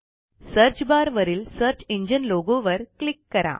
search bar वरील search engine लोगोवर click करा